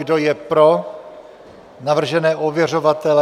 Kdo je pro navržené ověřovatele?